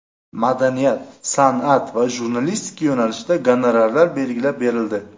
Madaniyat, san’at va jurnalistika yo‘nalishida gonorarlar belgilab berildi.